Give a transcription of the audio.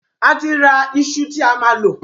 Àti ra ìṣù tí a máa lò